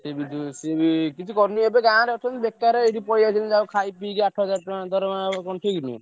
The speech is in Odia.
ସେ ବି ଯୋଉ ସିଏ ବି କିଛି କରୁନି ଏବେ ଗାଁରେ ଅଛନ୍ତି ବେକାର ଏଇଠି ପଳେଇ ଆଇଛନ୍ତି ଆଉ ଖାଇ ପିଇକି ଆଠ ହଜାର ଟଙ୍କା ଦରମା କଣ ଠିକ ନୁହେଁ?